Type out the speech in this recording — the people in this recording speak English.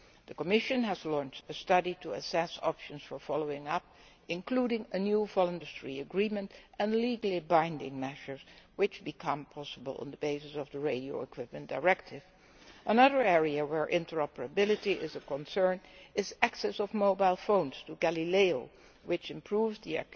The Commission has launched a study to assess options for follow up, including a new voluntary industry agreement and legally binding measures which become possible on the basis of the radio equipment directive. Another area where interoperability is of concern is access by mobile phones to Galileo, which improves the